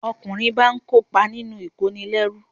Ọkùnrin báa ń kópa nínú ìkónilẹ́rú